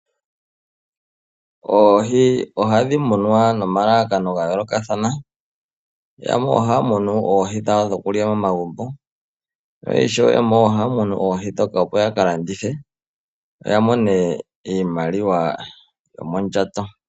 Oohi ohadhi munwa nomalalakano ga yoolokathana. Yamwe ohaya munu oohi dhawo dhokulya momagumbo, no ishewe yamwe ohaya munu oohi ndhoka opo yaka landithe, ya mone iimaliwa yo mondjato.